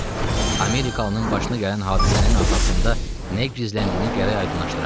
Bəli, Amerikalının başına gələn hadisənin arxasında nə gizləndiyini gərək aydınlaşdıraq.